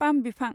palm बिफां